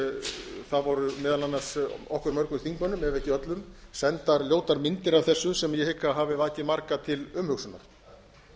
það voru meðal annars okkur öllum þingmönnum ef ekki öllum sendar ljótar myndir af þessu sem ég hygg að hafi vakið marga til umhugsunar